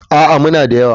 A'a, muna da yawa.